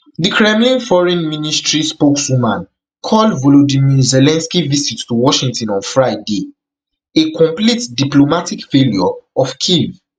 di kremlin foreign ministry spokeswoman call volodymyr zelensky visit to washington on friday a complete diplomatic failure of kyiv